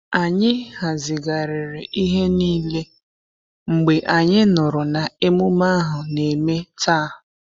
Anyị hazigharịri ihe niile mgbe anyị nụrụ na emume ahu na-eme taa.